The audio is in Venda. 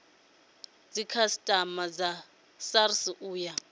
dzikhasiama dza srsa u ya